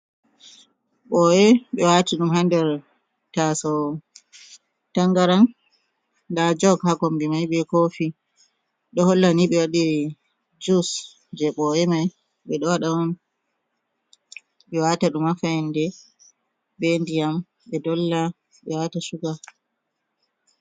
Ɓoye ɓe wati ɗum ha nder taso tangaran nda jog ha kombi mai be kofi ɗo Holla ni ɓe waɗiri jus je ɓoye mai ɓe ɗo waɗa on ɓe wata ɗum ha fayande ɓe ndiyam ɓe dolla ɓe wata shuga.